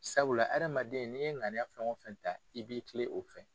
Sabula adamaden n'i ye ŋaniya fɛn o fɛn ta i b'i tilen o fɛ.